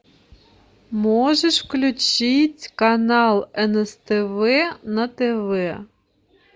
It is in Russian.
можешь включить канал нст тв на тв